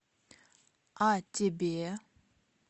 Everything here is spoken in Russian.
а тебе